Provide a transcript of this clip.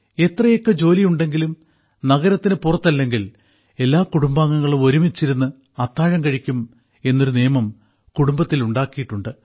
എത്രയൊക്കെ ജോലിയുണ്ടെങ്കിലും നഗരത്തിന് പുറത്തല്ലെങ്കിൽ എല്ലാ കുടുംബാംഗങ്ങളും ഒരുമിച്ചിരുന്ന് അത്താഴം കഴിക്കും എന്നൊരു നിയമം കുടുംബത്തിൽ ഉണ്ടാക്കിയിട്ടുണ്ട്